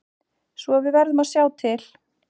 Svo við verðum að sjá til.